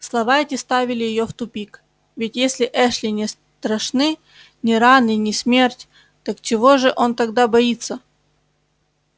слова эти ставили её в тупик ведь если эшли не страшны ни раны ни смерть так чего же он тогда боится